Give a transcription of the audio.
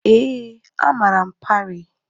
Ee, amara m Parii.